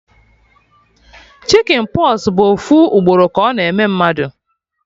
Chicjen pox bụ ofu ugboro ka ọ na-eme mmadụ